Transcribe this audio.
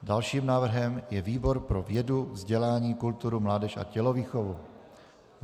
Dalším návrhem je výbor pro vědu, vzdělání, kulturu, mládež a tělovýchovu.